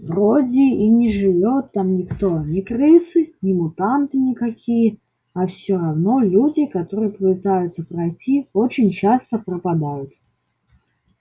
вроде и не живёт там никто ни крысы ни мутанты никакие а всё равно люди которые пытаются пройти очень часто пропадают